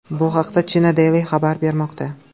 Bu haqda China Daily xabar bermoqda .